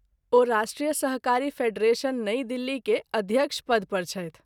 ओ राष्ट्रीय सहकारी फेडरेशन नई दिल्ली के अध्य़क्ष पद पर छथि।